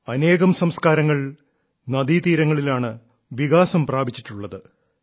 അനേകം സംസ്കാരങ്ങൾ നദീതീരങ്ങളിലാണ് വികാസം പ്രാപിച്ചിട്ടുള്ളത്